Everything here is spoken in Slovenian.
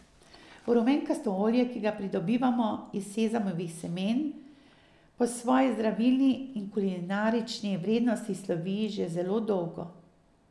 Rumenkasto olje, ki ga pridobivamo iz sezamovih semen, po svoji zdravilni in kulinarični vrednosti slovi že zelo dolgo.